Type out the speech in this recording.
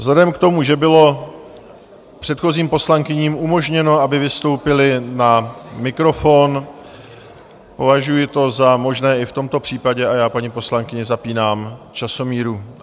Vzhledem k tomu, že bylo předchozím poslankyním umožněno, aby vystoupily na mikrofon, považuji to za možné i v tomto případě, a já paní poslankyni zapínám časomíru.